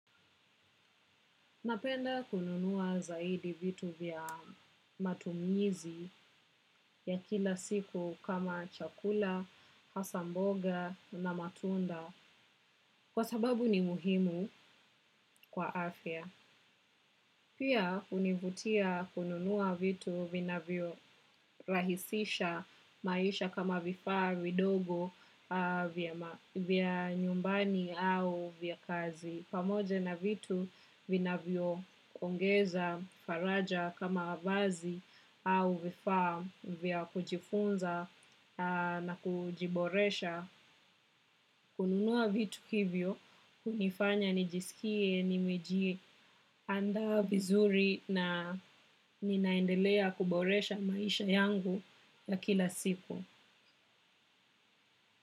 Napenda kununua zaidi vitu vya matumizi ya kila siku kama chakula, hasa mboga na matunda, kwa sababu ni muhimu kwa afya. Pia hunivutia kununua vitu, vinavyo rahisisha, maisha kama vifaa vidogo vya nyumbani au vya kazi. Pamoja na vitu vinavyo ongeza faraja kama vazi au vifaa vya kujifunza na kujiboresha. Kununua vitu hivyo, hunifanya, nijisikie, nimejie andaa vizuri na, ninaendelea kuboresha maisha yangu, ya kila siku.